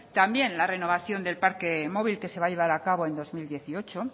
también la renovación del parque móvil que se va a llevar a cabo en el dos mil dieciocho